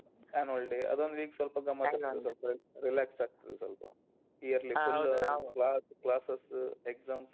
Annual day ಅದೊಂದ್ week ಸೊಲ್ಪ relax ಆಗ್ತದೆ ಸೊಲ್ಪ. class classes exams .